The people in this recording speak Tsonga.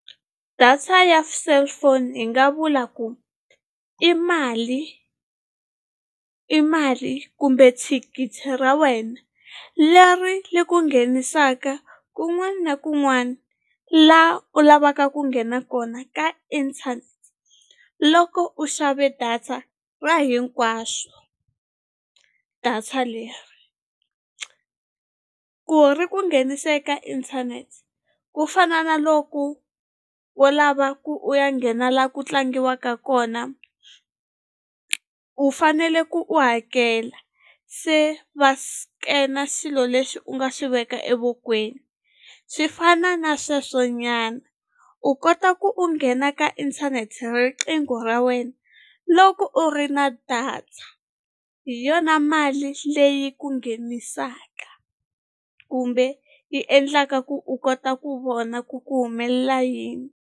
Data ya cellphone hi nga vula ku i mali i mali kumbe thikithi ra wena leri ri ku nghenisaka kun'wana na kun'wana la u lavaka ku nghena kona ka internet loko u xave data ra hinkwaswo data leri ku ri ku nghenisa eka inthanete ku fana na loko u lava ku u ya nghena la ku tlangiwaka kona u fanele ku u hakela se va scan-a xilo lexi u nga xi veka evokweni swi fana na sweswo nyana u kota ku u nghena ka inthanete riqingho ra wena loko u ri na data hi yona mali leyi ku nghenisaka kumbe yi endlaka ku u kota ku vona ku ku humelela yini.